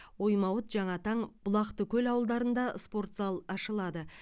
оймауыт жаңатаң бұлақтыкөл ауылдарында спорт зал ашылады